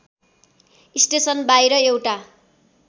station बाहिर एउट